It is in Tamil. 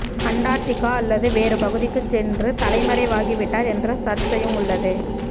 அண்டார்டிகா அல்லது வேறு பகுதிக்கு சென்று தலைமறை வாகிவிட்டார் என்ற சர்ச்சையும் உள்ளது